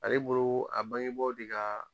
Ale boloo a bangebaaw te ka